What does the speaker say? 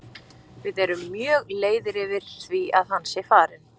Við erum mjög leiðir yfir því að hann sé farinn.